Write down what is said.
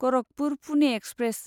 Gorakhpur Pune express